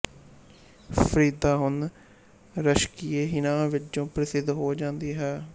ਫਰੀਦਾ ਹੁਣ ਰਸ਼ਕਏਹਿਨਾ ਵਜੋਂ ਪ੍ਰਸਿੱਧ ਹੋ ਜਾਂਦੀ ਹੈ